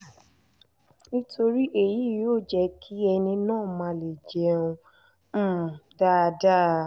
nítorí èyí yóò jẹ́ kí ẹni náà má leè jẹun um dáadáa